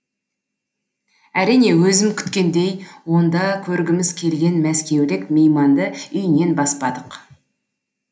әрине өзім күткендей онда көргіміз келген мәскеулік мейманды үйінен баспадық